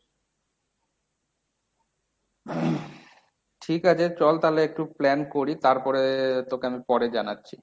ঠিক আছে চল তালে একটু plan করি তারপর তোকে আমি পরে জানাচ্ছি।